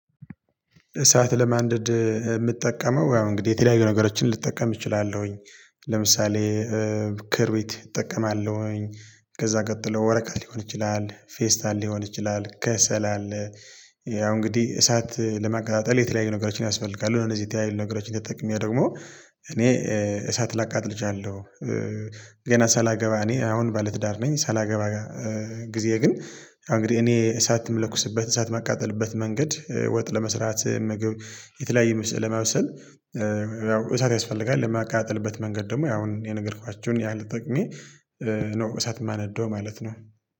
እሳት ለማንደድ የምትጠቀመው ያው እንግዲህ የተለያዩ ነገሮችን ልጠቀም እችላለሁኝ። ለምሳሌ ክርቢት እጠቀማለሁኝ። ከዛ ቀጥሎ ወረቀት ሊሆን ይችላል ፌስታል ሊሆን ይችላል ከሰል። ያው እንግዲህ እሳት ለማቀጠጣጠል የተለያዩ ነገሮችን ያስፈልጋሉ እነዚህ የተለያዩ ነገሮችን ተጠቅሜ ደግሞ እኔ እሳት ላቃጣጥል እችላለሁ። ገና ሳላገባ እኔ አሁን ባለትዳር ነኝ። ሳላገባ ጊዜ ግን አሁን እንግዲህ እኔ እሳት መለኩስበት እሳት መቃጠልበት መንገድ ወጥ ለመስራት ምግብ የተለያየ ለማብሰል። ያው እሳት ያስፈልጋል ለማቃጣጠልበት መንገድ ደግሞ ያሁን የነገርኳችሁን ያህል ጠቅሜ ነው። እሳት የማነዳው ማለት ነው